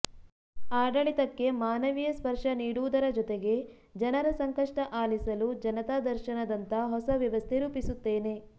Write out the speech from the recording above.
ಆಡಳಿತಕ್ಕೆ ಮಾನವೀಯ ಸ್ಪರ್ಶ ನೀಡುವುದರ ಜೊತೆಗೆ ಜನರ ಸಂಕಷ್ಟ ಆಲಿಸಲು ಜನತಾ ದರ್ಶನದಂಥ ಹೊಸ ವ್ಯವಸ್ಥೆ ರೂಪಿಸುತ್ತೇನೆ